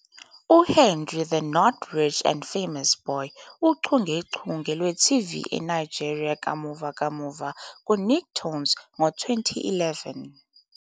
"UHenry The Not Rich and Famous Boy, Uchungechunge Lwe-TV eNigeria Kamuva Kamuva Ku-Nicktoons Ngo-2011"